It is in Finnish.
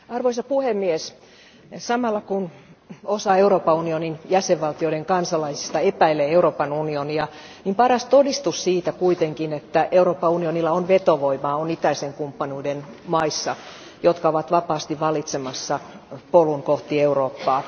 Arvoisa puhemies, samalla kun osa Euroopan unionin jäsenvaltioiden kansalaisista epäilee Euroopan unionia, niin paras todistus siitä kuitenkin, että Euroopan unionilla on vetovoimaa, on itäisen kumppanuuden maissa, jotka ovat vapaasti valitsemassa polun kohti Eurooppaa.